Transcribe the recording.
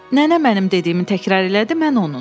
Nənə mənim dediyimi təkrar elədi, mən onun.